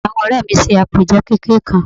Èmi àti àwon òré mi se àpèje kékeré kan